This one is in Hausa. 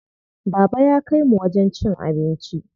Baba ya kaimu wajen cin abinci.